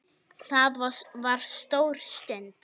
Það var stór stund.